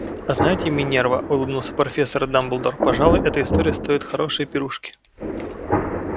а знаете минерва улыбнулся профессор дамблдор пожалуй эта история стоит хорошей пирушки